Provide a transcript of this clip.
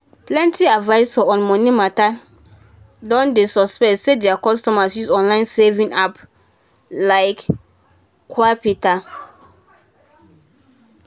plenty advisors on money matter don dey suspectt say their customers use online saving appl like qapital